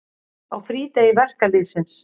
Á frídegi verkalýðsins.